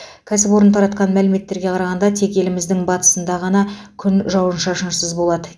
кәсіпорын тартқан мәліметтерге қарағанда тек еліміздің батысында ғана күн жауын шашынсыз болады